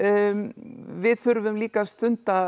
við þurfum líka að stunda